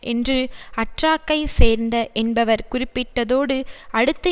என்று அற்றாக்கை சேர்ந்த என்பவர் குறிப்பிட்டதோடு அடுத்து